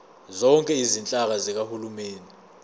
zonke izinhlaka zikahulumeni